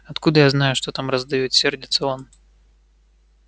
откуда я знаю что там продают сердится он